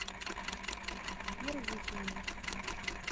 первухине